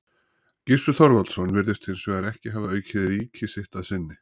Gissur Þorvaldsson virðist hins vegar ekki hafa aukið ríki sitt að sinni.